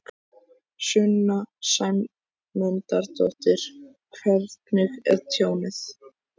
Sunna Sæmundsdóttir: Hvernig er tjónið?